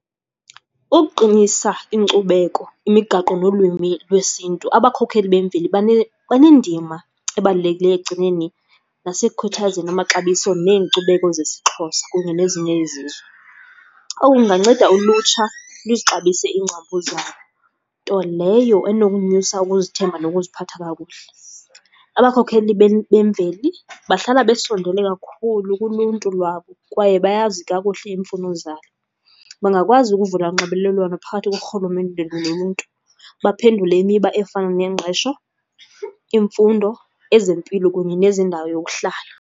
Ukuqinisa inkcubeko imigaqo nolwimi lwesiNtu, abakhokeli bemveli banendima ebalulekileyo ekugcineni nasekukhuthazeni amaxabiso neenkcubeko zesiXhosa kunye nezinye izizwe. Oku kunganceda ulutsha luzixabise iingcambu zalo, nto leyo enokunyusa ukuzithemba nokuziphatha kakuhle. Abakhokheli bemveli bahlala besondele kakhulu kuluntu lwabo kwaye bayazi kakuhle iimfuno zabo. Bangakwazi ukuvula unxibelelwano phakathi korhulumente noluntu. Baphendule imiba efana nengqesho, imfundo, ezempilo kunye nezendawo yokuhlala.